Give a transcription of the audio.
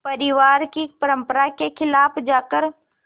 परिवार की परंपरा के ख़िलाफ़ जाकर